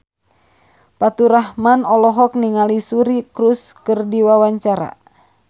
Faturrahman olohok ningali Suri Cruise keur diwawancara